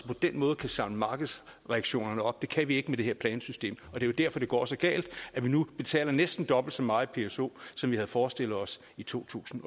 på den måde kan samle markedsreaktionerne op det kan vi ikke med det her plansystem det er derfor det går så galt at vi nu betaler næsten dobbelt så meget i pso som vi havde forestillet os i totusinde